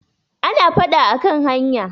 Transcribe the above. ana fada a kan hanya